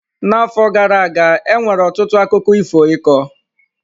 N'afọ gara aga, e nwere ọtụtụ akụkọ ifo ịkọ.